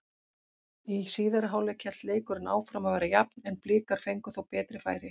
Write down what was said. Í síðari hálfleik hélt leikurinn áfram að vera jafn en Blikar fengu þó betri færi.